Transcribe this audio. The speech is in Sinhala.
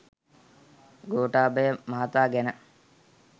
ගෝඨාභය මහතා ගැන